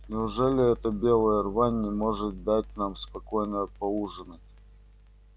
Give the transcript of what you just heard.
неужели эта белая рвань не может дать нам спокойно поужинать